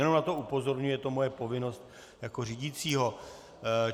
Jenom na to upozorňuji, je to moje povinnost jako řídícího.